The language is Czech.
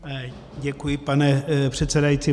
Děkuji, pane předsedající.